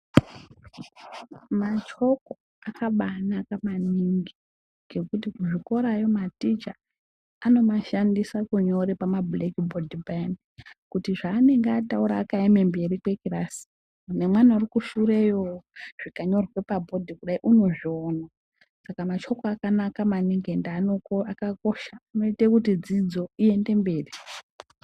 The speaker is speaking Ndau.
Machoko akabaanaka maningi ngekuti kuzvikorayo maticha anomashandisa kunyora pamablekibhodhi payani kuti zvaanenge ataura akaema mberi kwekilasi nemwana uri kushureyo zvikanyorwa pabhodhi kudai unozviona saka machoki akanaka maningi ende akakosha anoita kuti dzidzo iende mberi